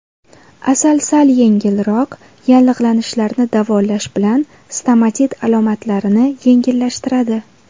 Asal sal yengilroq yallig‘lanishlarni davolash bilan stomatit alomatlarini yengillashtiradi.